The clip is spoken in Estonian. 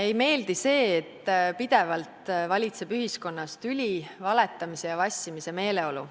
Ei meeldi see, et pidevalt valitseb ühiskonnas tüli, valetamise ja vassimise meeleolu.